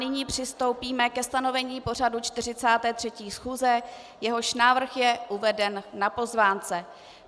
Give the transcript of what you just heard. Nyní přistoupíme ke stanovení pořadu 43. schůze, jehož návrh je uveden na pozvánce.